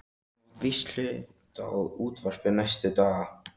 Þú mátt víst hluta á útvarpið næstu daga.